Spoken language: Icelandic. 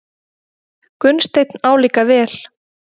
Gunnsteinn álíka vel.